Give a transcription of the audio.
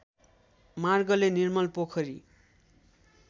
मार्गले निर्मल पोखरी